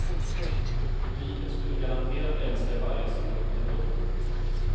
Publiken skulle garanterat älska varje sekund ändå.